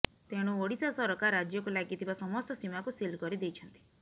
ତେଣୁ ଓଡ଼ିଶା ସରକାର ରାଜ୍ୟକୁ ଲାଗିଥିବା ସମସ୍ତ ସୀମାକୁ ସିଲ୍ କରିଦେଇଛନ୍ତି